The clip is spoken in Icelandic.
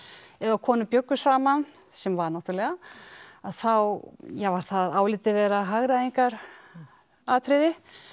ef að konur bjuggu saman sem var náttúrulega að þá var það álitið vera hagræðingaratriði